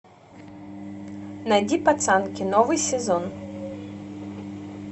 найди пацанки новый сезон